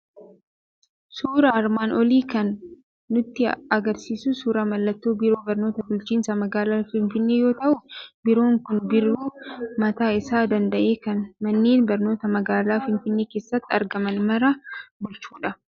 Suuraan armaan olii kan nutti argisiisu suuraa mallattoo Biiroo Barnoota Bulchiinsa Magaalaa Finfinnee yoo ta'u, Biiroon kun biiroo mataa isaa danda'e, kan manneen barnootaa magaalaa Finfinnee keessatti argaman mara bulchudha.